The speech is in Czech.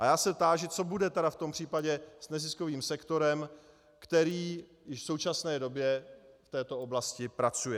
A já se táži, co bude tedy v tom případě s neziskovým sektorem, který již v současné době v této oblasti pracuje.